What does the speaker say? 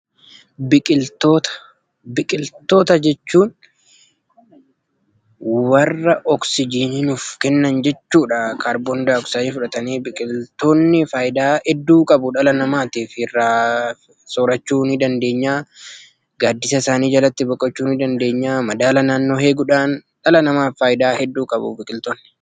Biqiltoota jechuun warra kaarbondaayoksaayidii fudhatanii oksijinii nuuf kennan jechuudha. Biqiltoonni dhala namaaf faayidaa hedduu qabu. Akka fakkeenyaattis: irraa soorachuuf, gaaddisa isaanii jalatti bocqochuu, madaala naannoo nuu eeguudhaan dhala namaaf faayidaa hedduu kennu